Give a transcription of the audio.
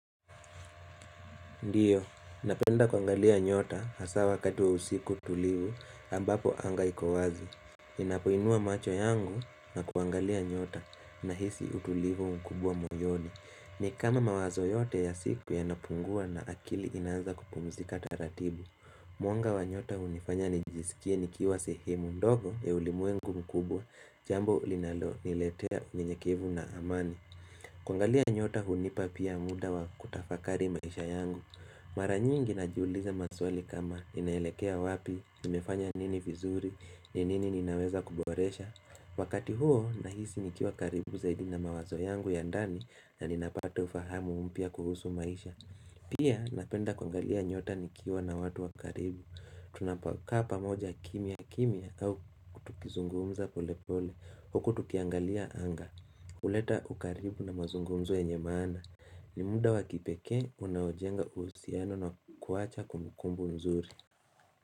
Ndiyo, napenda kuangalia nyota hasaa wakati waa usiku tulivu ambapo anga ikowazi Inapoinua macho yangu na kwangalia nyota na hisi utulivu mkubwa moyoni ni kama mawazo yote ya siku ya napungua na akili inaanza kupumzika taratibu muanga wa nyota unifanya nijisikie nikiwa sehemu ndogo ya ulimwengu mkubwa Jambo linalo niletea ninyekivu na amani Kwangalia nyota hunipa pia muda wa kutafakari maisha yangu Maranyingi na jiuliza maswali kama inaelekea wapi, nimefanya nini vizuri, nini ninaweza kuboresha Wakati huo nahisi nikiwa karibu zaidi na mawazo yangu ya ndani na ninapata ufahamu mpya kuhusu maisha Pia napenda kuangalia nyota nikiwa na watu wa karibu Tunapakapa moja kimia kimia au tukizungumza pole pole Huku tukiangalia anga uleta ukaribu na mazungumzu ya nyemana Nimuda wakipeke unaojenga uusiano na kuwacha kumbukumbu mzuri.